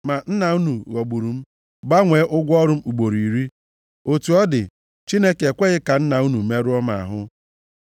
Ma nna unu ghọgburu m, gbanwee ụgwọ ọrụ m ugboro iri. Otu ọ dị, Chineke ekweghị ka nna unu merụọ m ahụ.